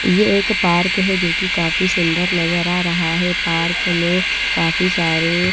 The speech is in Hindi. ये एक पार्क है जो की काफी सुंदर नजर आ रहा है पार्क में काफी सारे--